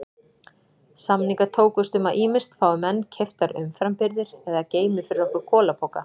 Samningar tókust um að ýmist fái menn keyptar umframbirgðir eða geymi fyrir okkur kolapoka.